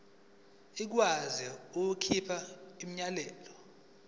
ikwazi ukukhipha umyalelo